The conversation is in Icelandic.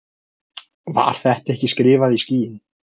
Var þetta ekki skrifað í skýin?